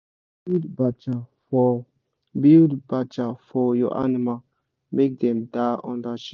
build bacha for build bacha for your animal make dem da under shade